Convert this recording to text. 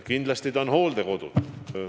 Kindlasti on ta hooldekodus.